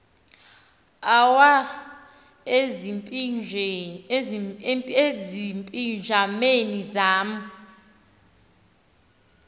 awa ezipijameni zam